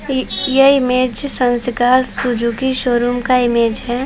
इ यह इमेज संस्कार सुजुकी शोरूम का इमेज हैं।